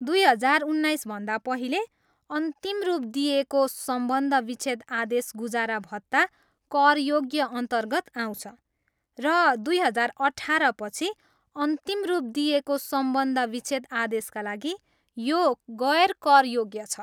दुई हजार उन्नाइसभन्दा पहिले अन्तिम रूप दिइएको सम्बन्ध विच्छेद आदेश गुजारा भत्ता करयोग्यअन्तर्गत आउँछ र दुई हजार अठाह्रपछि अन्तिम रूप दिइएको सम्बन्ध विच्छेद आदेशका लागि, यो गैर करयोग्य छ।